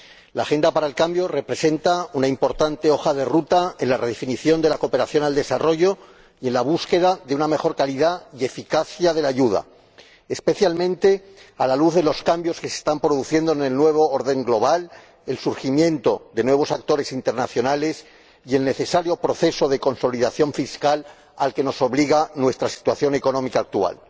El Programa para el Cambio representa una importante hoja de ruta en la redefinición de la cooperación al desarrollo y en la búsqueda de una mejor calidad y eficacia de la ayuda, especialmente a la luz de los cambios que se están produciendo en el nuevo orden global, del surgimiento de nuevos actores internacionales y del necesario proceso de consolidación fiscal al que nos obliga nuestra situación económica actual.